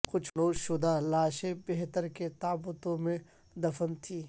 کچھ حنوط شدہ لاشیں پتھر کے تابوتوں میں دفن تھیں